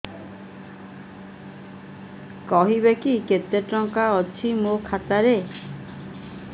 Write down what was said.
କହିବେକି କେତେ ଟଙ୍କା ଅଛି ମୋ ଖାତା ରେ